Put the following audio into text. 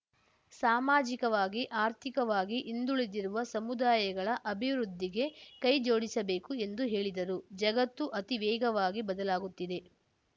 ಸಾಮಾಜಿಕವಾಗಿ ಆರ್ಥಿಕವಾಗಿ ಹಿಂದುಳಿದಿರುವ ಸಮುದಾಯಗಳ ಅಭಿವೃದ್ಧಿಗೆ ಕೈಜೋಡಿಸಬೇಕು ಎಂದು ಹೇಳಿದರು ಜಗತ್ತು ಅತಿ ವೇಗವಾಗಿ ಬದಲಾಗುತ್ತಿದೆ